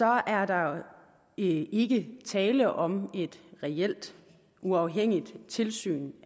er der ikke tale om et reelt uafhængigt tilsyn